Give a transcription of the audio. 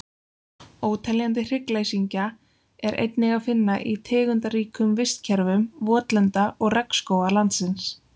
Óteljandi hryggleysingja er einnig að finna í tegundaríkum vistkerfum votlenda og regnskóga landsins.